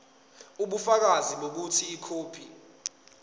ubufakazi bokuthi ikhophi